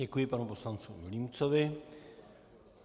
Děkuji panu poslanci Vilímcovi.